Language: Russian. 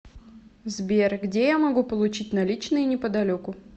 сбер где я могу получить наличные неподалеку